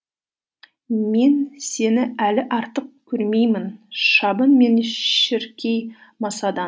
мен сені әлі артық көрмеймін мен шіркей масадан